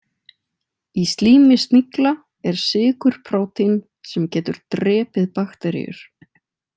Í slími snigla er sykurprótín sem getur drepið bakteríur.